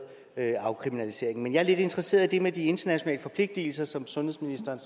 en afkriminalisering men jeg er lidt interesseret i det med de internationale forpligtelser som sundhedsministeren